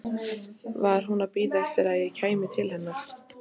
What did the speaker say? Var hún að bíða eftir að ég kæmi til hennar?